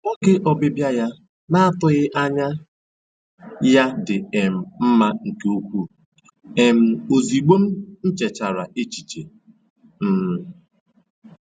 Oge ọbịbịa ya na-atụghị anya ya dị um mma nke ukwuu, um ozịgbọ m nchechara echiche. um